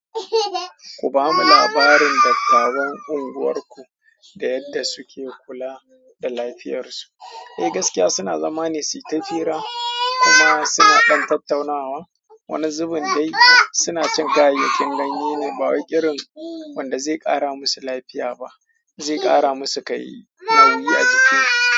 Ku ba mu labarin dattawan unguwarku da yadda suke kula da lafiyar su. Eh gaskiya suna zama ne su yi ta cira kuma suna ɗan tattaunawa. Wani zubin dai suna cin kayayyakin ganye ne, ba wa wai irin wanda zai ƙara musu lafiya ba, zai ƙara musu kai nauyi a jiki.